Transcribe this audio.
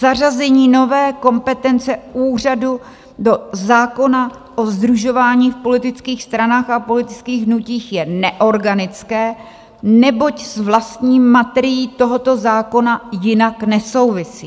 "Zařazení nové kompetence úřadu do zákona o sdružování v politických stranách a politických hnutích je neorganické, neboť s vlastní materií tohoto zákona jinak nesouvisí.